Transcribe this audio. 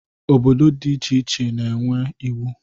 Obodo dị iche iche na-enwe iwu.